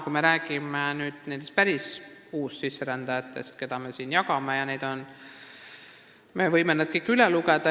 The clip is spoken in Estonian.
Kui me räägime nendest päris uussisserändajatest, keda meil teistega jagada tuleb, siis me võime nad kõik siin üle lugeda.